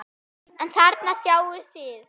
En þarna sjáið þið!